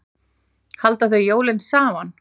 Halda þau jólin saman?